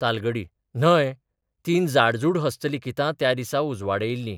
तालगडी न्हय, तीन जाडजूड हस्तलिखितां त्या दिसा उजवाडियिल्ली.